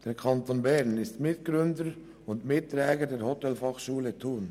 Der Kanton Bern ist Mitgründer und Mitträger der Hotelfachschule Thun.